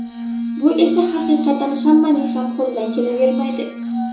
Bu esa haqiqatan hammaning ham qo‘lidan kelavermaydi.